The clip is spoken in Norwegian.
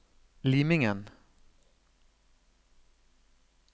Limingen